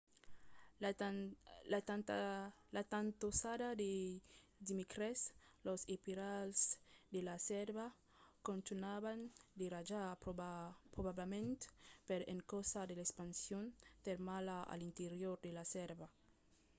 la tantossada de dimècres los espiralhs de la sèrva contunhavan de rajar probablament per encausa de l’expansion termala a l’interior de la sèrva